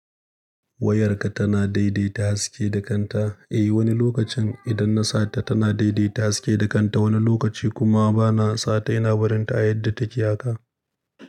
Wayarka tana daidaita haske da kanta. Eh wani lokacin idan na sata tana daidaita haske da kanta, wani lokaci kuma bana sata ina barin ta a yadda take haka.